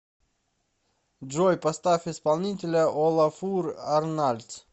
джой поставь исполнителя олафур арнальдс